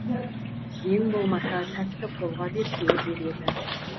ең болмаса сәтті қолға берсе деп еді